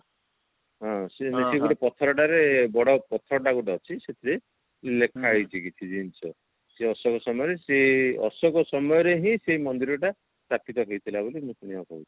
ହଁ ମାନେ ପଥର ଟାରେ ବଡ ପଥର ଟା ଗୋଟେ ଅଛି ସେଥିରେ ଲେଖା ହେଇଛି କିଛି ଜିନିଷ ସେ ଅଶୋକ ସମୟରେ ସେ ଅଶୋକ ସମୟରେ ହିଁ ସେ ମନ୍ଦିର ଟା ସ୍ଥାପିତ ହେଇଥିଲା ବୋଲି ମୁଁ ଶୁଣିବାକୁ ପାଇଛି